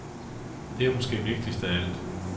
Det er måske vigtigst af alt.